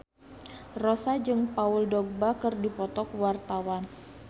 Rossa jeung Paul Dogba keur dipoto ku wartawan